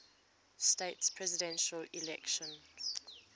states presidential election